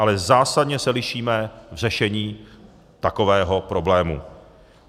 Ale zásadně se lišíme v řešení takového problému.